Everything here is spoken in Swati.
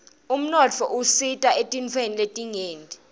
umnotfo usita etintfweni letinyenti